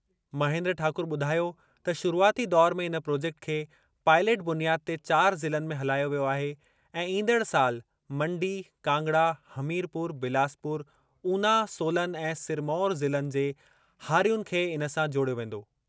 महेन्द्र ठाकुर ॿुधायो त शुरूआती दौरु में इन प्रॉजेक्ट खे पाइलट बुनियाद ते चार ज़िलनि में हलायो वियो आहे ऐं ईंदड़ साल मंडी, कांगड़ा, हमीरपुर, बिलासपुर, ऊना, सोलन ऐं सिरमौर ज़िलनि जे हारियुनि खे इन सां जोड़ियो वेंदो।